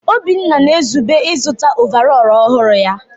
Obinna na-ezube ịzụta ọvarọọr ọhụrụ ya.